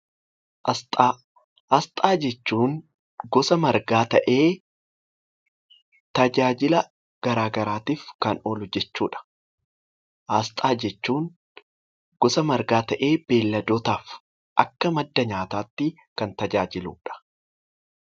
Asxaa Asxaa jechuun gosa margaa ta'ee tajaajila garaagaraatiif kan oolu jechuudha. Asxaa jechuun gosa margaa ta'ee beeyiladootaaf akka madda nyaataatti kan tajaajiludha.